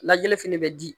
Lajɛli fɛnɛ bɛ di